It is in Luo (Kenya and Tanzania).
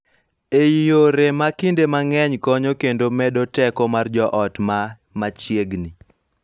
E yore ma kinde mang�eny konyo kendo medo teko mar joot ma machiegni.